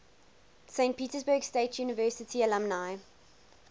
saint petersburg state university alumni